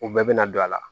U bɛɛ bɛna don a la